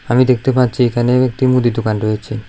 আমি দেখতে পাচ্ছি এখানে একটি মুদি দোকান রয়েছে।